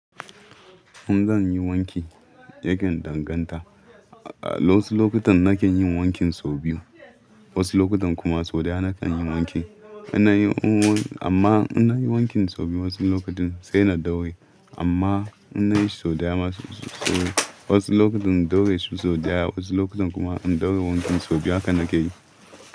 In zan yi wanki, yakan danganta. A wasu lokutan na kan yin wankin sau biyu. Wasu lokutan kuma sau ɗaya na kan yi wanki. Ina yi amma ina yin wankin sau biyu wasu lokutan sai na dauraye amma inna yi sau ɗaya masu sau. Wasu lokutan in dauraye sau ɗaya, wasu lokutan kuma in dauraye wankin sau biyu haka na ke yi.